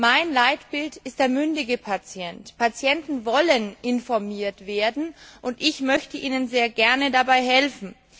Mein Leitbild ist der mündige Patient. Patienten wollen informiert werden, und ich möchte ihnen sehr gerne dabei helfen.